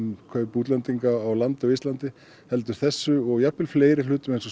kaup útlendinga á landi á íslandi heldur þessu og fleiri lögum eins og